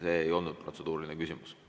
See ei olnud protseduuriline küsimus.